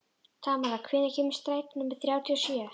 Tamara, hvenær kemur strætó númer þrjátíu og sjö?